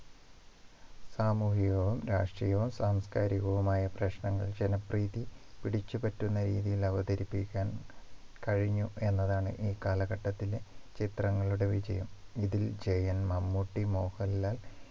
സാമൂഹികവും രാഷ്ട്രീയവും സാംസ്കാരികവുമായ പ്രശ്നങ്ങൾ ജനപ്രീതി പിടിച്ചു പറ്റുന്ന രീതിയിൽ അവതരിപ്പിക്കാൻ കഴിഞ്ഞു എന്നതാണ് ഈ കാലഘട്ടത്തിലെ ചിത്രങ്ങളുടെ വിജയം ഇതിൽ ജയൻ മമ്മൂട്ടി മോഹൻലാൽ